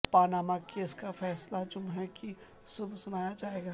Panama case کا فیصلہ جمعے کی صبح سنایا جائے گا